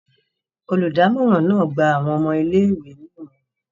Oludamoran náà gba awọn ọmọ ìlé-ìwé ni imọran.